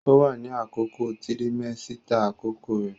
Ó wà ní àkókò tirimẹ́sítà àkọ́kọ́ rẹ̀